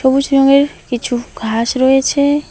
সবুজ রঙের কিছু ঘাস রয়েছে।